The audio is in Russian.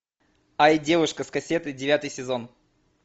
ай девушка с кассетой девятый сезон